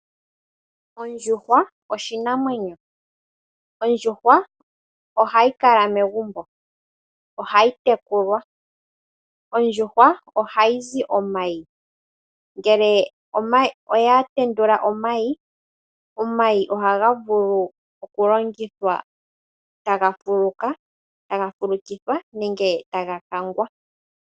Ondjuhwa oshinamwenyo. Yo ohayi kala megumbo . Ohayi tekulwa. Ohayi zi omayi . Ngele oya tendula omayi , omayi ohaga vulu okulongithwa taga fulukithwa nenge taga kangwa.